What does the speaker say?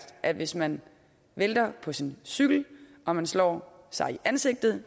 at hvis man vælter på sin cykel og man slår sig i ansigtet